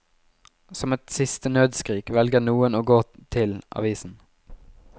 Som et siste nødskrik velger noen å gå til avisen.